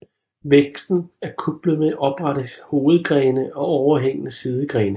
Væksten er kuplet med oprette hovedgrene og overhængende sidegrene